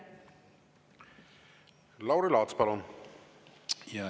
Lauri Laats, palun!